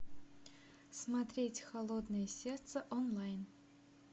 смотреть холодное сердце онлайн